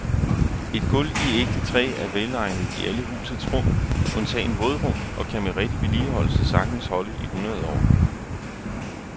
Et gulv i ægte træ er velegnet i alle husets rum undtagen vådrum og kan med rigtig vedligeholdelse sagtens holde i hundrede år.